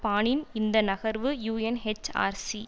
பானின் இந்த நகர்வு யூஎன்எச்ஆர்சி